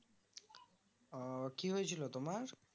ও কি হয়েছিল তোমার